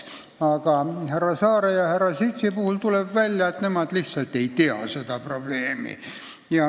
Aga härra Saare ja härra Sitsi puhul tuleb välja, et nemad lihtsalt ei tea seda probleemi.